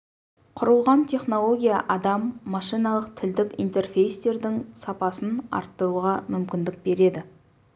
құрылған технология адам-машиналық тілдік интерфейстердің сапасын арттыруға мүмкіндік береді